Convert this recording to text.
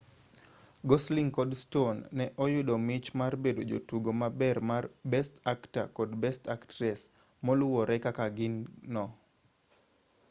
gosling kod stone ne oyudo mich mar bedo jotugo mabeyo mar best actor kod best actress moluwore kaka gin no